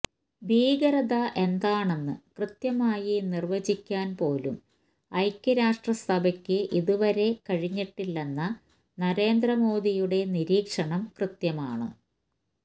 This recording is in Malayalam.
ഭീകരത എന്താണെന്ന് കൃത്യമായി നിര്വചിക്കാന്പോലും ഐക്യരാഷ്ട്രസഭയ്ക്ക് ഇതുവരെ കഴിഞ്ഞിട്ടില്ലെന്ന നരേന്ദ്രമോദിയുടെ നിരീക്ഷണം കൃത്യമാണ്